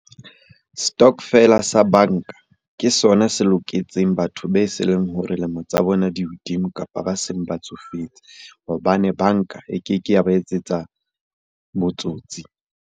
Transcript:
Stokvel-a sa banka ke sona se loketseng batho be se leng hore lemo tsa bona di hodimo, kapa ba seng ba tsofetse hobane banka e keke ya ba etsetsa botsotsi.